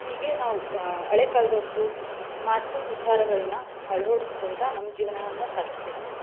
ಹೀಗೆ ನಾವು ಅಹ್ ಹಳೆ ಕಾಲದವರ್ದು ಮಾತು ವಿಚಾರಗಳನ್ನ ಆಳ್ವಾಡಿಸ್ಕೊತ ನಮ್ ಜೇವ್ನವನ್ನ ಸಾಗಿಸ್ಬೇಕ್ರಿ.